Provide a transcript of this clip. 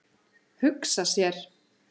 Hugsa sér.